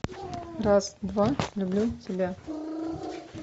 раз два люблю тебя